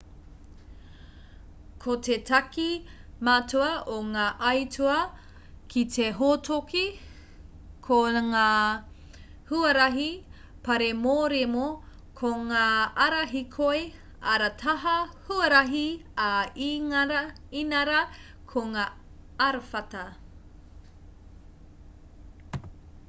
ko te take matua o ngā aituā ki te hōtoke ko ngā huarahi pāremoremo ko ngā ara hīkoi ara taha huarahi ā inarā ko ngā arawhata